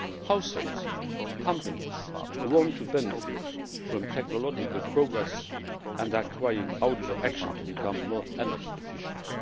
Households and companies want to benefit from technological progress and are crying out for action to become more energy efficient.